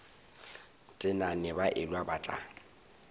tenane ba elwa ba tla